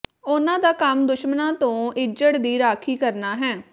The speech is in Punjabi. ਉਨ੍ਹਾਂ ਦਾ ਕੰਮ ਦੁਸ਼ਮਣਾਂ ਤੋਂ ਇੱਜੜ ਦੀ ਰਾਖੀ ਕਰਨਾ ਹੈ